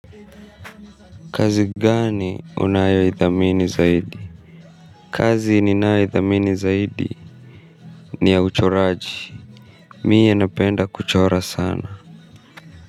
Kazi gani unayo idhamini zaidi. Kazi ni nayo idhamini zaidi ni ya uchoraji. Mimi napenda kuchora sana.